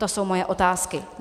To jsou moje otázky.